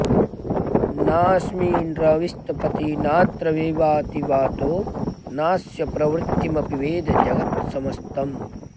नास्मिन्रविस्तपति नात्र विवाति वातो नास्य प्रवृत्तिमपि वेद जगत्समस्तम्